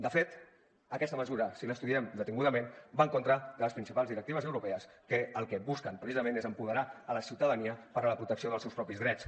de fet aquesta mesura si l’estudiem detingudament va en contra de les principals directives europees que el que busquen precisament és empoderar la ciutadania en la protecció dels seus propis drets